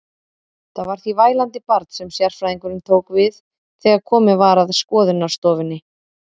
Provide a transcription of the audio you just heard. Það var því vælandi barn sem sérfræðingurinn tók við þegar komið var að skoðunarstofunni.